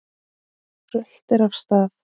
Röltir af stað.